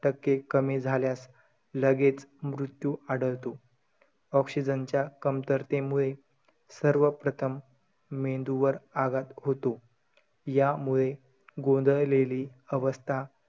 टक्के कमी झाल्यास लगेच मृत्यू आढळतो. oxygen च्या कमतरतेमुळे सर्वप्रथम मेंदूवर आघात होतो. यामुळे गोंधळलेली अवस्था,